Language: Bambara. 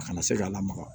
A kana se ka lamaga